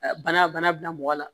Bana bana bila mɔgɔ la